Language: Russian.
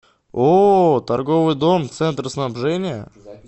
ооо торговый дом центр снабжения